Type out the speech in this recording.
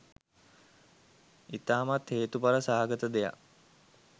ඉතාමත් හේතුඵල සහගත දෙයක්.